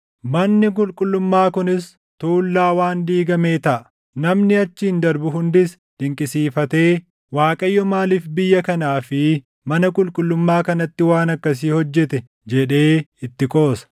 Manni qulqullummaa kunis tuullaa waan diigamee taʼa; namni achiin darbu hundis dinqisiifatee, ‘ Waaqayyo maaliif biyya kanaa fi mana qulqullummaa kanatti waan akkasii hojjete?’ jedhee itti qoosa.